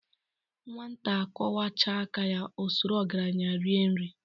Nwata kwochaa aka o soro ogaranya rie nri.